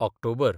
October